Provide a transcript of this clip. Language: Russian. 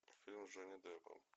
фильм с джонни деппом